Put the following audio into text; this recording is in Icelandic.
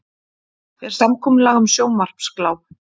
Er samkomulag um sjónvarpsgláp?